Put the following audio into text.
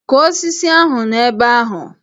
Kụọ osisi ahụ n'ebe ahụ!